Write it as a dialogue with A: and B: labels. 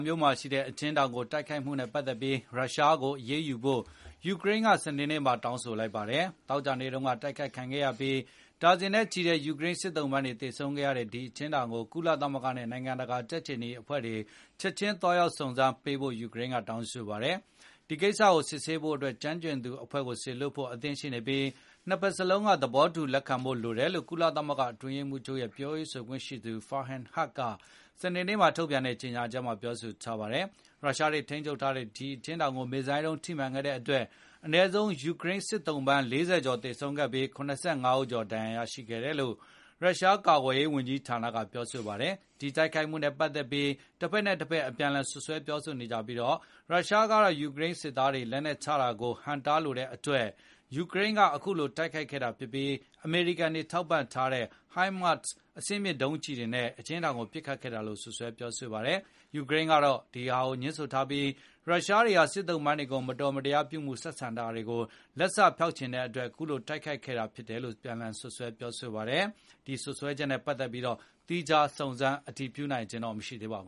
A: မြို့ မှာရှိတဲ့ အကျဉ်းထောင်ကို တိုက်ခိုက်ခဲ့မှုနဲ့ ပတ်သက်ပြီး ရုရှားကို အရေးယူဖို့ ယူကရိန်းက စနေနေ့မှာ တောင်းဆိုလိုက်ပါတယ်။ သောကြာနေ့တုံးက အတိုက်ခိုက်ခံခဲ့ရပြီး ဒါဇင်နဲ့ချီတဲ့ ယူကရိန်း စစ်သုံးပန်းတွေသေဆုံးခဲ့ရတဲ့ ဒီအကျဉ်းထောင်ကို ကုလသမဂ္ဂနဲ့ နိုင်ငံတကာ ကြက်ခြေနီအဖွဲ့တွေ ချက်ခြင်းသွားရောက်စုံစမ်းကြဖို့ ယူကရိန်းက တောင်းဆိုပါတယ်။ “ဒီကိစ္စကိုစစ်ဆေးဖို့အတွက် ကျွမ်းကျင်သူအဖွဲ့ကို စေလွှတ်ဖို့ အသင့်ရှိနေပြီး နှစ်ဘက်စလုံးက သဘောတူ လက်ခံဖို့လိုတယ်”လို့ ကုလသမဂ္ဂ အတွင်းရေးမှုးချုပ် ရဲ့ ပြောရေးဆိုခွင့်ရှိသူ Farhan Haq စနေနေ့က ထုတ်ပြန်တဲ့ ကြေညာချက်မှာ ပြောပါတယ်။ ရုရှားတွေ ထိန်းချုပ်ထားတဲ့ ဒီအကျဉ်းထောင်ကို မစ်ဇိုင်းဒုန်း ထိမှန်ခဲ့တဲ့အတွက် အနည်းဆုံး ယူကရိန်းစစ်သုံးပန်း ၄၀ ကျော်သေဆုံးပြီး၊ ၇၅ ဦးဒဏ်ရာ ရရှိခဲ့တယ်လို့ ရုရှား ကာကွယ်ရေးဝန်ကြီးဌာနကပြောပါတယ်။ ဒီတိုက်ခိုက်မှုနဲ့ ပတ်သက်ပြီး တက်ဘက်နဲ့ တဘက် အပြန်အလှန်စွပ်စွဲနေပြီး၊ ရုရှားကတော့ ယူကရိန်းစစ်သားတွေ လက်နှက်ချတာကို ဟန့်တားလိုတဲ့အတွက် ယူကရိန်းက အခုလိုတိုက်ခိုက်ခဲ့တာဖြစ်ပြီး၊ အမေရိကန်တွေ ထောက်ပံ့ပေးထားတဲ့ HIMARS ဒုန်းကျည်တွေနဲ့ အကျဉ်းထောင်ကို ပစ်ခတ်ခဲ့တာလို့ စွပ်စွဲပြောဆိုပါတယ်။ ယူကရိန်းကတော့ ငြင်းဆိုထားပြီး ရုရှားတွေဟာ စစ်သုံးပန်းတွေကို မတော်မတရားပြုမူ ဆက်ဆံထားတာကို လက်စဖျောက်ချင်တဲ့အတွက် အခုလိုတိုက်ခိုက်ခဲ့တာလို့ စွပ်စွဲပြောဆိုပါတယ်။ ဒီစွပ်စွဲချက်တွေနဲ့ ပတ်သက်ပြီး သီးခြားစုံစမ်းနိုင်ခြင်း မရှိသေးပါဘ